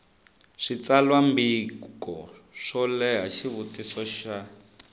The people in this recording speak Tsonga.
switsalwambiko swo leha xivutiso xa